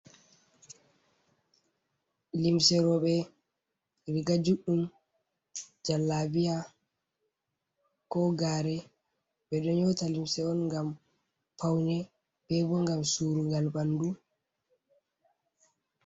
Limse rooɓe, riiga juuɗɗum, jallabiya , ko gaare, ɓe ɗo ƴoota limse on ngam pawne debbo, ngam suurungal ɓanndu.